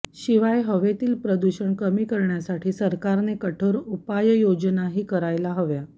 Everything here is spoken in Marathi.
शिवाय हवेतील प्रदूषण कमी करण्यासाठी सरकारने कठोर उपाययोजनाही करायला हव्या